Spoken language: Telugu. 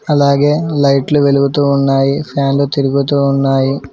అలాగే లైట్లు వెలుగుతూ ఉన్నాయి ఫ్యాన్లు తిరుగుతూ ఉన్నాయి.